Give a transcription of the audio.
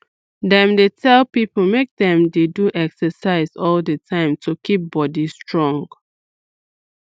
dem dey tell people make dem dey do exercise all the time to keep body strong